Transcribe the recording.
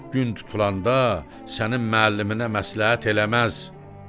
Gün tutulanda sənin müəlliminə məsləhət eləməz.